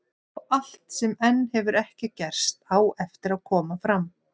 Og allt sem enn hefur ekki gerst, á eftir að koma fram.